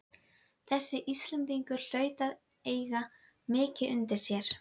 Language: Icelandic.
Þessi Íslendingur hlaut að eiga mikið undir sér!